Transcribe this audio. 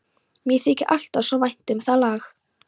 Mér þykir alltaf svo vænt um það lag.